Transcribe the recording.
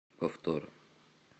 повтор